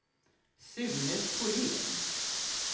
Sune Thorén